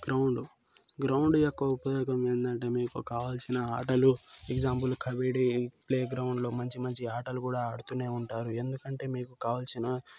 ground ground యొక్క ఉపయోగం ఏంది అంటే కావాల్సిన ఆటలు ఎక్సమ్ఫుల్ ప్లేగ్రౌండ్ లో మంచి మంచి ఆటలు కూడా ఆడుతూనే ఉంటారు ఎందుకంటే మీకు కావాల్సిన--